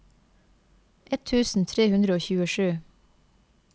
ett tusen tre hundre og tjuesju